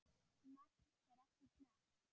Magn fer eftir smekk.